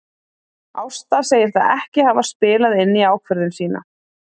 Ásta segir það ekki hafa spilað inn í ákvörðun sína.